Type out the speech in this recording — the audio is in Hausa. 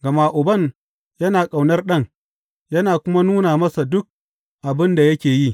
Gama Uban yana ƙaunar Ɗan yana kuma nuna masa duk abin da yake yi.